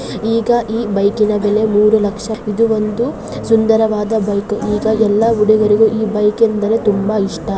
ಈಗ ಈ ಬೈಕ್ ಇನ ಬೆಲೆ ಮೂರೂ ಲಕ್ಷ ವಾಗಿದೆ ಇದು ವೊಂದು ಸುಂದರವಾದ ಬೈಕ್ ಈಗ ಎಲ್ಲ ಹುಡುಗರಿಗೂ ಈ ಬೈಕ್ ಎಂದರೆ ತುಂಬ ಇಷ್ಟ.